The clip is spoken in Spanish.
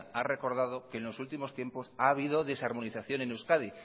ha recordado que en los últimos tiempos ha habido desarmonización en euskadi